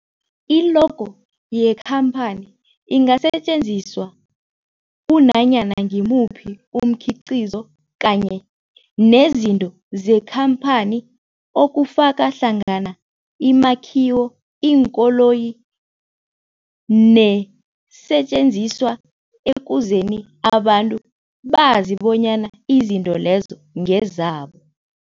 I-logo yekhamphani ingasetjenziswa kunanyana ngimuphi umkhiqizo kanye nezinto zekhamphani okufaka hlangana imakhiwo, iinkoloyi neesentjenziswa ukuze abantu bazi bonyana izinto lezo ngezabo.